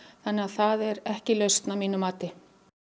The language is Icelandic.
það er ekki lausn að mínu mati